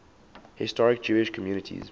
historic jewish communities